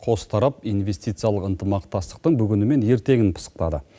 қос тарап инвестициялық ынтымақтастықтың бүгіні мен ертеңін пысықтады